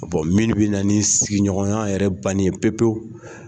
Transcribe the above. Min bɛ na ni sigiɲɔgɔnya yɛrɛ bannen pewu pewu.